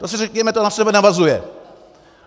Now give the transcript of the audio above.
To si řekněme, to na sebe navazuje.